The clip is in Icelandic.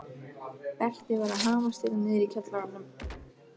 Berti var að hamast hérna niðri í kjallaranum.